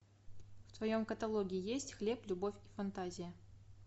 в твоем каталоге есть хлеб любовь и фантазия